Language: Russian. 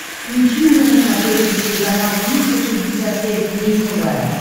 включи мне на смотрешке телеканал триста шестьдесят пять дней тв